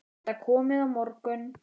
Getiði komið á morgun?